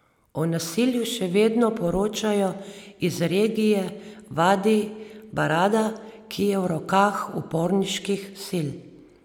O nasilju še vedno poročajo iz regije Vadi Barada, ki je v rokah uporniških sil.